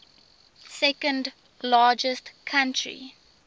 second largest country